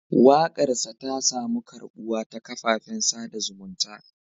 Wakarsa ta samu karbuwa ta kafafen sada zumunta.